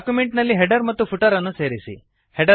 document ನಲ್ಲಿ header ಮತ್ತು footer ಅನ್ನು ಸೇರಿಸಿ